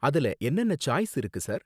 அதுல என்னென்ன சாய்ஸ் இருக்கு, சார்?